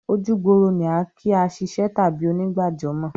Ojúgbòrò ni à n kí àṣìṣẹ́ tàbí ònìgbàjọ́mọ̀